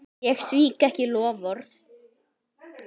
Ég svík ekki loforð.